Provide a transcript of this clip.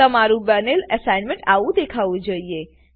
તમારું બનેલ અસાઇનમેન્ટઆવું દેખાવું જોઈએ